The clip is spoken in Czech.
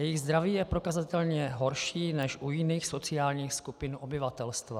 Jejich zdraví je prokazatelně horší než u jiných sociálních skupin obyvatelstva.